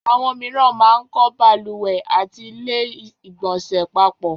Àwọn mìíràn máa ń kọ́ balùwẹ̀ àti ilé ìgbọ̀nsẹ̀ papọ̀